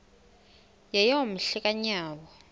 yeyom hle kanyawo